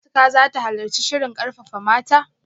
Shin Atikah zata halarci shirin karfafa mata?